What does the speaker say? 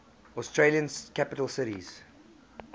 australian capital cities